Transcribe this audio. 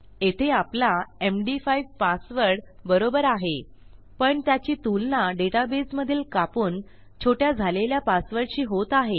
येथे आपला MD five password बरोबर आहे पण त्याची तुलना डेटाबेसमधील कापून छोट्या झालेल्या पासवर्डशी होत आहे